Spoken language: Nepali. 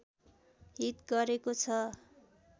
हित गरेको छ